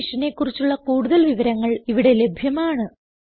ഈ മിഷനെ കുറിച്ചുള്ള കുടുതൽ വിവരങ്ങൾ ഇവിടെ ലഭ്യമാണ്